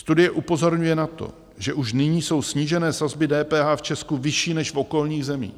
Studie upozorňuje na to, že už nyní jsou snížené sazby DPH v Česku vyšší než v okolních zemích.